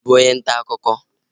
Ị bụ onye ntaakụkọ?